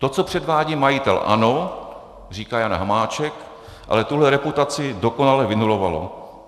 To, co předvádí majitel ANO," říká Jan Hamáček, ale tuhle reputaci dokonale vynulovalo.